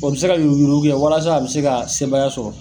O be se ka yuruku yuruku kɛ walasa a be se ka sebaya sɔrɔ.